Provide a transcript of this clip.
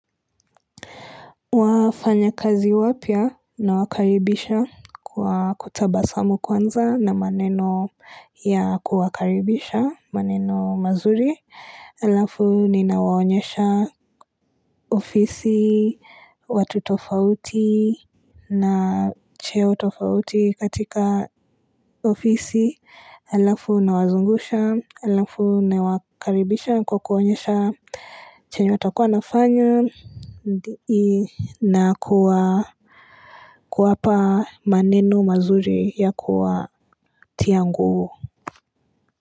Wafanyakazi wapya nawakaribisha kwa kutabasamu kwanza na maneno ya kuwakaribisha maneno mazuri alafu ninawaonyesha ofisi, watu tofauti na cheo tofauti katika ofisi alafu nawazungusha, alafu nawakaribisha kwa kuwaonyesha chenye watakuwa wanafanya na kuwa kuwapa maneno mazuri ya kuwatia nguvu.